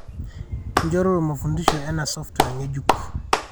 inchoruru mafundisho ena software ngejuk